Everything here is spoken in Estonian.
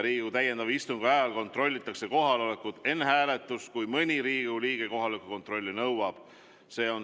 Riigikogu täiendava istungi ajal kontrollitakse kohalolekut ka enne hääletust, juhul kui mõni Riigikogu liige kohaloleku kontrolli nõuab.